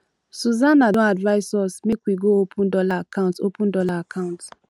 susana don advise us make we go open dollar account open dollar account